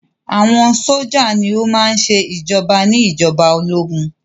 Àwọn sójà ní o má ń ṣe ìjoba ní ìjọba ológun.